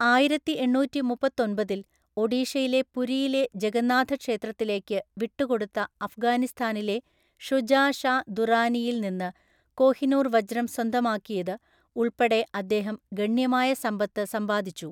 ആയിരത്തിഎണ്ണൂറ്റിമുപ്പത്തൊമ്പതില്‍ ഒഡീഷയിലെ പുരിയിലെ ജഗന്നാഥ ക്ഷേത്രത്തിലേക്ക് വിട്ടുകൊടുത്ത അഫ്ഗാനിസ്ഥാനിലെ ഷുജാ ഷാ ദുറാനിയിൽ നിന്ന് കോഹിനൂർ വജ്രം സ്വന്തമാക്കിയത് ഉൾപ്പെടെ അദ്ദേഹം ഗണ്യമായ സമ്പത്ത് സമ്പാദിച്ചു.